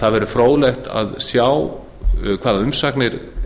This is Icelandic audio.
það verður fróðlegt að sjá hvaða umsagnir